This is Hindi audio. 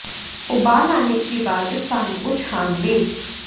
उबाल आने के बाद इस पानी को छान लें